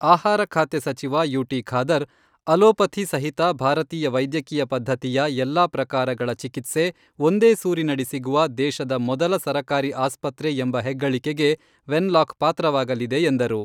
ಆಹಾರ ಖಾತೆ ಸಚಿವ ಯು.ಟಿ. ಖಾದರ್, ಅಲೋಪಥಿ ಸಹಿತ ಭಾರತೀಯ ವೈದ್ಯಕೀಯ ಪದ್ಧತಿಯ ಎಲ್ಲಾ ಪ್ರಕಾರಗಳ ಚಿಕಿತ್ಸೆ ಒಂದೇ ಸೂರಿನಡಿ ಸಿಗುವ ದೇಶದ ಮೊದಲ ಸರಕಾರಿ ಆಸ್ಪತ್ರೆ ಎಂಬ ಹೆಗ್ಗಳಿಕೆಗೆ ವೆನ್ಲಾಕ್ ಪಾತ್ರವಾಗಲಿದೆ ಎಂದರು.